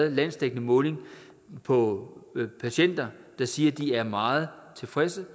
en landsdækkende måling af på patienter der siger at de er meget tilfredse